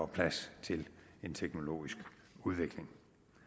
plads til en teknologisk udvikling